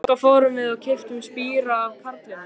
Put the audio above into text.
Þangað fórum við og keyptum spíra af karlinum.